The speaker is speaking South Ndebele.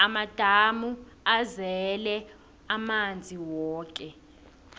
amadamu azele amanzi woke